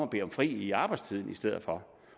bede om fri i arbejdstiden i stedet for